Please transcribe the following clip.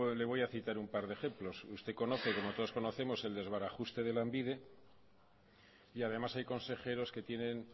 le voy a citar un par de ejemplos usted conoce como todos conocemos el desbarajuste de lanbide y además hay consejeros que tienen